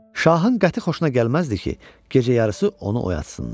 Şahın qəti xoşuna gəlməzdi ki, gecə yarısı onu oyatsınlar.